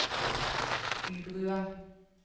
Bybrua